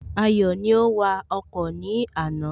Ayọ̀ ni ó wa ọkọ̀ ní àná